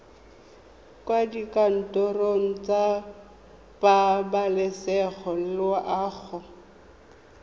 kwa dikantorong tsa pabalesego loago